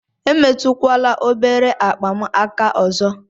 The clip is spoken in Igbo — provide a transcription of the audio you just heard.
Emetụkwala obere akpa m aka ọzọ!